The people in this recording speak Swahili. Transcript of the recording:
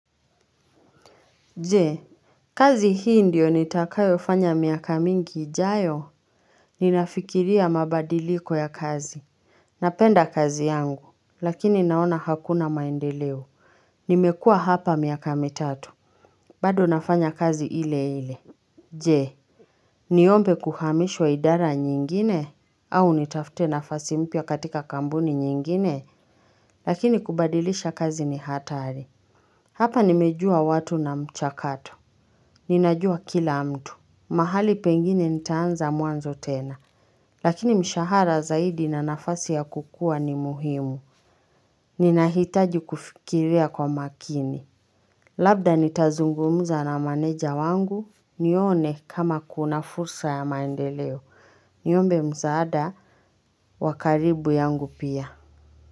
Je, kazi hii ndiyo nitakayofanya miaka mingi ijayo? Ninafikiria mabadiliko ya kazi. Napenda kazi yangu. Lakini naona hakuna maendeleo. Nimekuwa hapa miaka mitatu. Bado nafanya kazi ile ile. Je, niombe kuhamishwa idara nyingine? Au nitafute nafasi mpya katika kampuni nyingine? Lakini kubadilisha kazi ni hatari. Hapa nimejua watu na mchakato. Ninajua kila mtu. Mahali pengine nitaanza mwanzo tena lakini mshahara zaidi na nafasi ya kukua ni muhimu Ninahitaji kufikiria kwa makini Labda nitazungumza na meneja wangu nione kama kuna fursa ya maendeleo Niombe msaada wa karibu yangu pia.